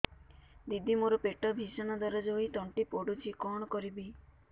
ଦିଦି ମୋର ପେଟ ଭୀଷଣ ଦରଜ ହୋଇ ତଣ୍ଟି ପୋଡୁଛି କଣ କରିବି